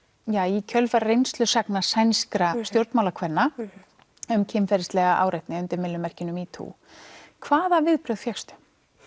í kjölfar sænskra stjórnmálakvenna um kynferðislega áreitni undir myllumerkinu metoo hvaða viðbrögð fékkstu